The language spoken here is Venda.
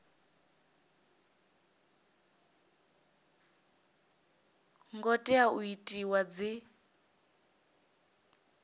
ngo tea u itiwa dzi